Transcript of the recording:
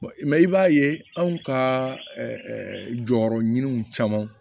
i b'a ye anw ka jɔyɔrɔminɛnw caman